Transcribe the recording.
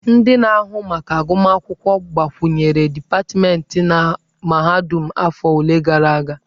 Ndị na-ahụ maka agụmakwụkwọ gbakwunyere dipatmentị na mahadum afọ ole na ole gara aga.